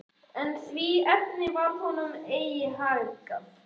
En í því efni varð honum eigi haggað.